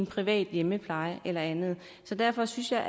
privat hjemmepleje eller andet derfor synes jeg